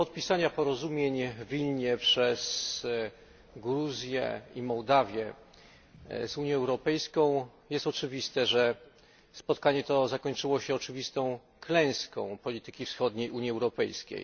Mimo podpisania porozumień w Wilnie przez Gruzję i Mołdawię z Unią Europejską jest oczywiste, że spotkanie to zakończyło się oczywistą klęską polityki wschodniej Unii Europejskiej.